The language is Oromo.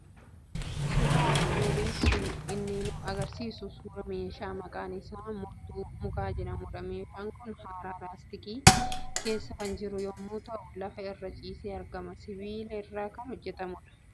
Suuraan armaan olii kan inni argisiisu suuraa meeshaa maqaan isaa murtuu mukaa jedhamudha. Meeshaan kun haaraa laastikii keessa kan jiru yommuu ta'u, lafa irra ciisee argama. Sibiila irraa kan hojjetamudha.